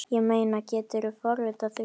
Ég meina, geturðu forðað því?